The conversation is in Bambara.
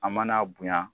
A mana bonya